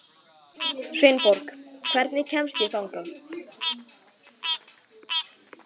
Sveinborg, hvernig kemst ég þangað?